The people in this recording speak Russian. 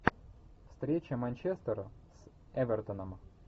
встреча манчестера с эвертоном